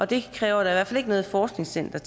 det kræver da ikke noget forskningscenter